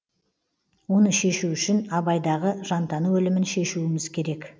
оны шешу үшін абайдағы жантану ілімін шешуіміз керек